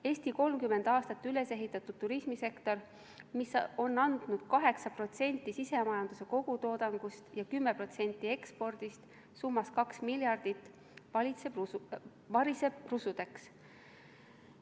Eesti 30 aastaga ülesehitatud turismisektor, mis on andnud 8% sisemajanduse kogutoodangust ja 10% ekspordist summas 2 miljardit, variseb rusudeks.